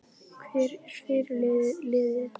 Hver er fyrirliði liðsins?